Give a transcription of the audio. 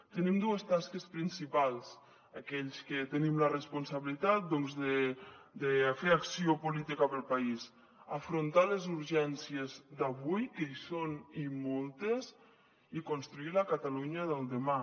tenim dues tasques principals aquells que tenim la responsabilitat doncs de fer acció política per al país afrontar les urgències d’avui que hi són i moltes i construir la catalunya del demà